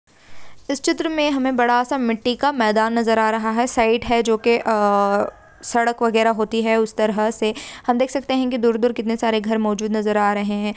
इस चित्र मैं हमें बड़ा सा मिट्टी का मैदान नज़र आ रहा है साइक है जो के अअअ सड़क वगेरा होती है उस तरह से हम देख सकते है की दूर दूर कितने सारे घर मोजूद नज़र आ रहे है।